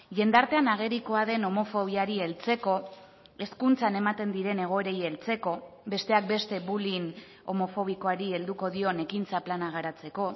jendartean agerikoa den homofobiari heltzeko hezkuntzan ematen diren egoerei heltzeko besteak beste bullying homofobikoari helduko dion ekintza plana garatzeko